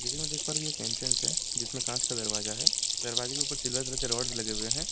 जैसे कि मैं देख पा रहा कि यह एक एंट्रेंस है जिसमें कांच का दरवाजा है दरवाजे के ऊपर सिल्वर कलर के रोड लगे हुए हैं।